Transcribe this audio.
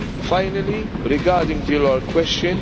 Finally, regarding the oral question.